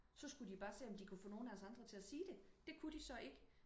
så skulle de bare se om de kunne få nogen af os andre til at sige det det kunne de så ikke